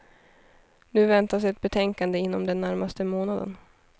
Nu väntas ett betänkande inom den närmaste månaden.